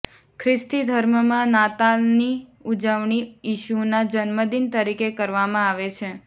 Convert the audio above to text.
ખ્રિસ્તી ધર્મમાં નાતાલની ઉજવણી ઈશુના જન્મદિન તરીકે કરવામાં આવે છે